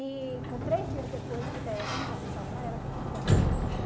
E com três dias depois, a técnica avisou para ela que o filho dela não estava lá.